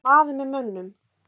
Að vera maður með mönnum